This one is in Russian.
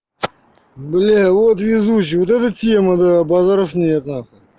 блядь вот везущий вот это тема базаров нет нахуй